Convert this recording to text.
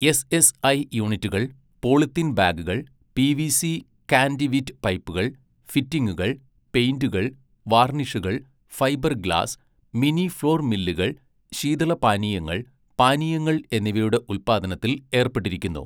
SSI യൂണിറ്റുകൾ polythene ബാഗുകൾ, PVC conduit പൈപ്പുകൾ, ഫിറ്റിംഗുകൾ, പെയിന്റുകൾ, വാർണിഷുകൾ, ഫൈബർ ഗ്ലാസ്, മിനി ഫ്ളോർ മില്ലുകൾ, ശീതളപാനീയങ്ങൾ, പാനീയങ്ങൾ എന്നിവയുടെ ഉൽപ്പാദനത്തിൽ ഏർപ്പെട്ടിരിക്കുന്നു.